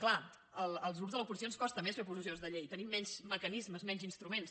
clar als grups de l’oposició ens costa més fer proposicions de llei tenim menys mecanismes menys instruments